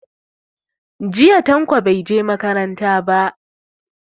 Jiya Tanko bai je makaranta ba.